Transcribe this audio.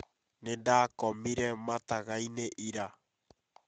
Nĩ ndakomire mataga-inĩ ira